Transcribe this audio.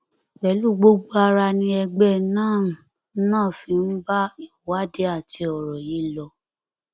pẹlú gbogbo ara ni ẹgbẹ nannm náà fi ń bá ìwádìí àti ọrọ yìí lọ